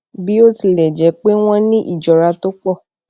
bí ó tilẹ jẹ pé wọn ní ìjọra tó pọ